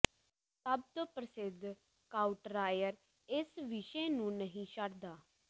ਸਭ ਤੋਂ ਪ੍ਰਸਿੱਧ ਕਾਊਟਰਾਈਅਰ ਇਸ ਵਿਸ਼ੇ ਨੂੰ ਨਹੀਂ ਛੱਡਦਾ